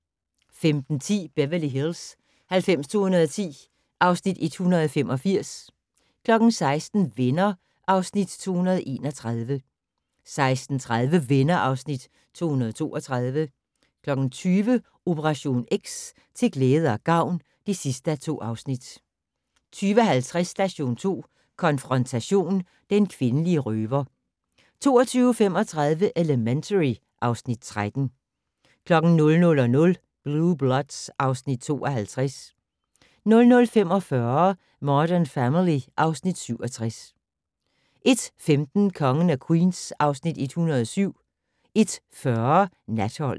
15:10: Beverly Hills 90210 (Afs. 185) 16:00: Venner (Afs. 231) 16:30: Venner (Afs. 232) 20:00: Operation X: Til glæde og gavn (2:2) 20:50: Station 2 konfrontation: Den kvindelige røver 22:35: Elementary (Afs. 13) 00:00: Blue Bloods (Afs. 52) 00:45: Modern Family (Afs. 67) 01:15: Kongen af Queens (Afs. 107) 01:40: Natholdet